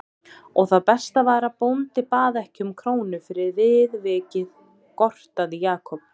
Og það besta var að bóndi bað ekki um krónu fyrir viðvikið gortaði Jakob.